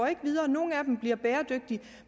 ikke videre og nogle af dem bliver bæredygtige